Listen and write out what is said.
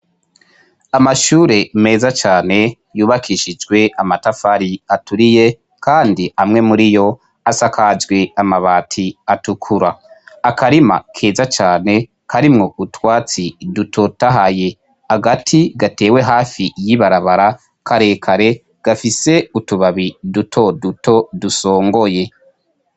Amashure meza cane yubakishijwe amatafari aturiye kandi amwe muriyo asakajwe amabati atukura, akarima keza cane karimwo utwatsi dutotahaye, agati gatewe hafi y'ibarabara karekare gafise utubabi duto duto dusongoye.